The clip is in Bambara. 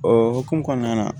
O hokumu kɔnɔna na